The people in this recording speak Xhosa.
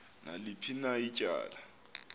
naliphi na ityala